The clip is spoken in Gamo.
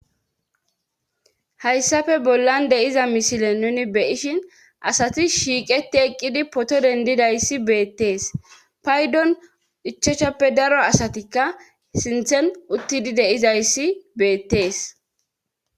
Hayssafe bollan deyiza mishile nuni beyishin asati shiiqeti eqqidi poto dendidayssi beettees paydon ichachappe daro asatikka sinthen uttidi deizayssi beettees.